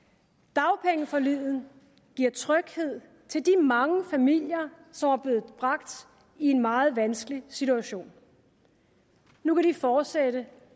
dagpengeforliget giver tryghed til de mange familier som var blevet bragt i en meget vanskelig situation nu kan de fortsætte